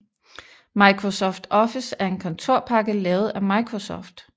Microsoft Office er en kontorpakke lavet af Microsoft